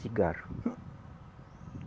Cigarro.